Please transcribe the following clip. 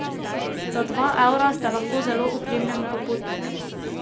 Za dva evra ste lahko zelo opremljen popotnik.